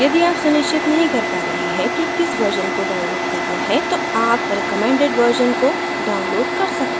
यदि आप सुनिश्चित नहीं कर पा रहें कि किस version को download करना है तो आप recommended version को download कर सकते हैं